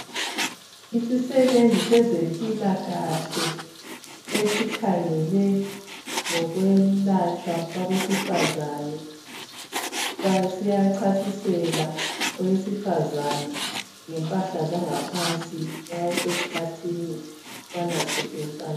Yissebenzi sezempilakahle esikhangele ngokwetshwa kwabesifazane. Siyachasisela owesifazane ngempahla zangaphansi nxa esesikhathini ukubana sisetshenziswa